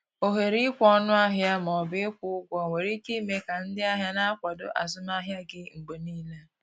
ohere ikwe ọnụ ahịa ma ọ bụ ịkwụ ụgwọ nwere ike ime ka ndị ahịa na-akwado azụmahịa gị mgbe niile.